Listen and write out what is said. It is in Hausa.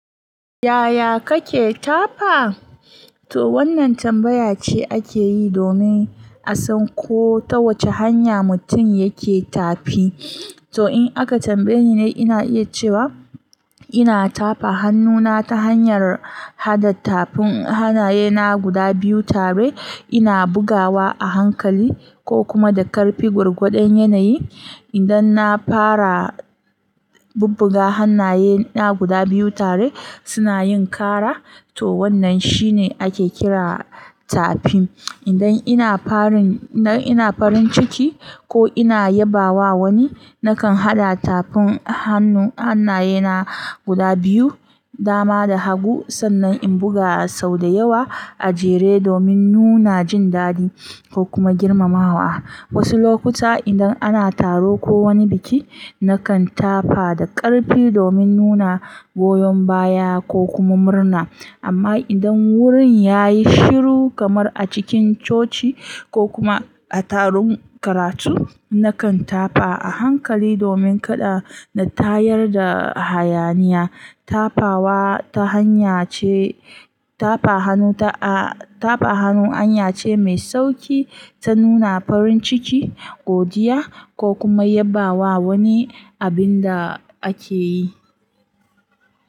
Yaya kake tafa? To wannan tambaya ce ake yi domin a san ko ta wace hanya mutum yake tafi. To in aka tambaye ni, ina iya cewa ina tafa hannuna ta hanyar haɗa tafin hannayena guda biyu tare, ina bugawa a hankali ko kuma da ƙarfi gwargwadon yanayi. Idan na fara bubbuga hannayena guda biyu tare, suna yin kara, to wannan shine ake kira tafi. Idan ina farin ciki ko ina yabawa wani, nakan haɗa tafin hannayena guda biyu, dama da hagu, sannan in buga sau da yawa a jere domin nuna jin daɗi ko kuma girmamawa. Wasu lokuta idan ana taro ko wani biki, nakan tafa da ƙarfi domin nuna goyon baya ko kuma murna. Amma idan wurin ya yi shiru kamar a cikin coci ko kuma a taron karatu, nakan tafa a hankali domin kada na tayar da hayaniya. Tafawa ta hanyace, tafa hannu hanya ce mai sauƙi ta nuna farin ciki, godiya ko kuma yabawa wani abin da ake yi.